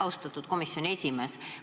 Austatud komisjoni esimees!